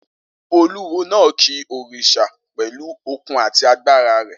Olúwo náà ki òrìṣà pẹ̀lú okun àti agbára rẹ